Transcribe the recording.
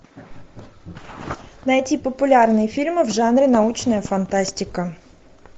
найти популярные фильмы в жанре научная фантастика